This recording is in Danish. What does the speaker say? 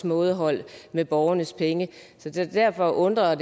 mådehold med borgernes penge så derfor undrede